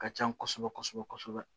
Ka can kosɛbɛ kosɛbɛ